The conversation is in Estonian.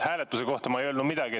Hääletuse kohta ma ei öelnud midagi.